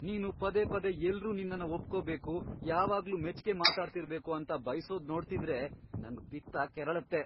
ನೀನು ಪದೇ ಪದೇ ಎಲ್ರೂ ನಿನ್ನನ್ನ ಒಪ್ಕೊಬೇಕು, ಯಾವಾಗ್ಲೂ ಮೆಚ್ಗೆ ಮಾತಾಡ್ತಿರ್ಬೇಕು ಅಂತ ಬಯ್ಸೋದ್ ನೋಡ್ತಿದ್ರೆ ನಂಗ್ ಪಿತ್ತ ಕೆರಳತ್ತೆ.